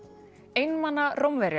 einmana Rómverjar